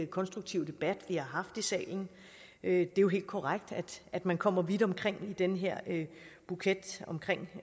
konstruktive debat vi har haft i salen det er jo helt korrekt at man kommer vidt omkring i den her buket omkring